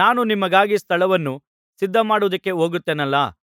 ನಾನು ನಿಮಗಾಗಿ ಸ್ಥಳವನ್ನು ಸಿದ್ಧಮಾಡುವುದಕ್ಕೆ ಹೋಗುತ್ತೇನಲ್ಲಾ